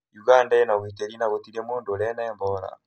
ũganda ĩ na ũgitĩri na gũtirĩ mũndũ ũrĩ na Ebora